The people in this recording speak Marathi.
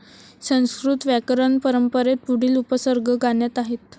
संस्कृत व्याकरणपरंपंरेत पुढील उपसर्ग गाण्यात आहेत.